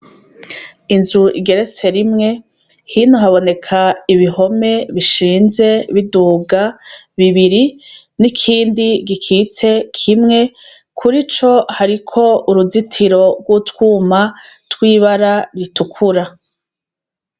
Inzu igeretse rimwe hino haboneka ibihome bishinze biduga bibiri ,nikindi gikitse kimwe murico hariko uruzitiro utwuma twibara ritukura.